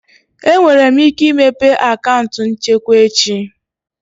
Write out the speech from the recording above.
Enwere m ike imepe akaụntụ nchekwa echi?